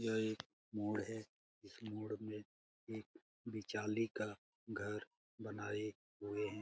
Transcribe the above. यह एक मोड़ है इस मोड़ में एक बिचाली का घर बनाए हुए है।